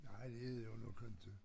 Nej det er det jo nok inte